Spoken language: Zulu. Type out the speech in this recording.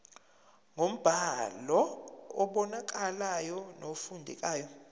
ngombhalo obonakalayo nofundekayo